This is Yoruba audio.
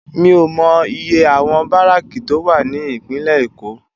Mi ó mò iyé áwòn báráki tó wá ni Ipinlè Ékó